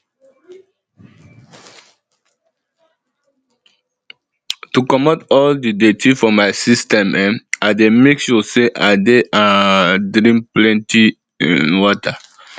to comot all di dirty for my system um i dey make sure say i dey um drink plenty um water